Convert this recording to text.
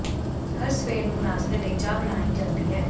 ਹਰ ਸਵੇਰ ਨੂੰ ਨਾਸ਼ਤੇ ਲਈ ਚਾਹ ਬਣਾਈ ਜਾਂਦੀ ਹੈ